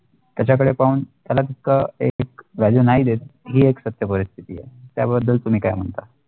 त्याचा कडे पाहून त्याला कस एक value नाही देत ही एक सत्य परिस्थिती आहे त्या बद्दल तुम्ही काय म्हणता